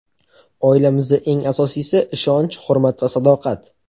Oilamizda eng asosiysi ishonch, hurmat va sadoqat”.